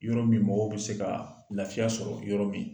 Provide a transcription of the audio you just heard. Yɔrɔ min mɔgɔw bɛ se ka lafiya sɔrɔ yɔrɔ min